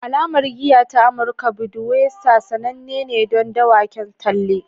Alamar giya ta Amurka Budweiser sananne ne don dawaken talle